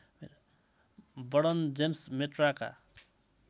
वर्णन जेम्स मेट्राका